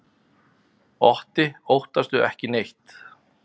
Otti óttast ekki neitt!